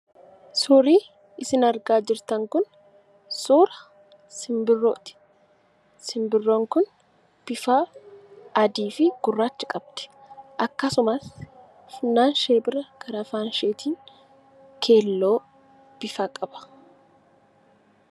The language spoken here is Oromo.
Suurri isin argaa jirtan kun suura Simbirrooti. Simbirroon kun bifa adii fi gurraacha qabdi. Akkasumas funyaan ishee bura karaa afaan isheetiin keelloo ofirraa qaba.